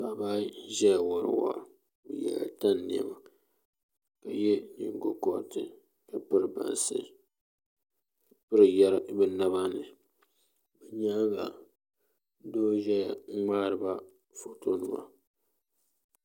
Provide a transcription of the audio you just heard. paɣiba ayi n-ʒaya wari waa bɛ yɛla tani nɛma ka ye nyiŋgokɔriti ka piri bansi ka piri yari bɛ naba ni bɛ nyaaŋa doo n-ʒaya n-ŋmaari ba fɔtonima